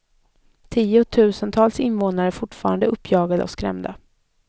Tiotusentals invånare är fortfarande uppjagade och skrämda.